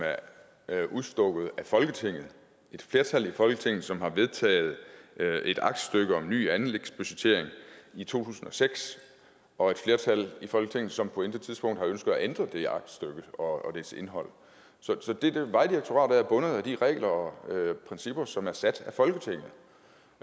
er udstukket af folketinget af et flertal i folketinget som har vedtaget et aktstykke om ny anlægsbudgettering i to tusind og seks og et flertal i folketinget som på intet tidspunkt har ønsket at ændre det aktstykke og dets indhold vejdirektoratet er bundet af de regler og principper som er sat